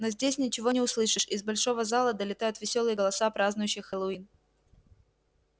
но здесь ничего не услышишь из большого зала долетают весёлые голоса празднующих хэллоуин